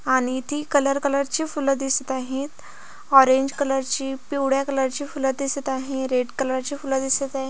आणि ती colour colour ची फूल दिसत आहेत ऑरेंग कलर ची पिवळ्या कलर ची फूल दिसत आहे रेड कलर ची फूल दिसत आहे.